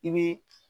I bɛ